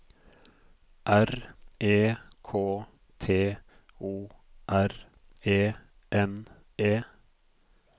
R E K T O R E N E